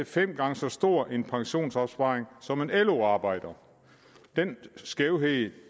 fem gange så stor en pensionsopsparing som en lo arbejder den skævhed